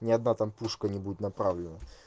ни одна там пушка не будет направлена